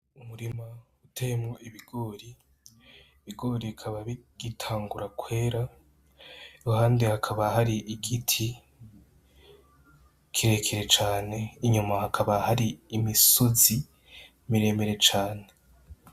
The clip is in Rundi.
Umurima uteyemwo ibigori, ibigori bikaba bigitangura kwera iruhande hakaba hari igiti kirekire cane n'inyuma hakaba hari imisozi miremire cane.